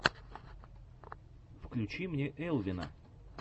включи мне элвина